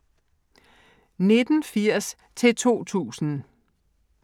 1980-2000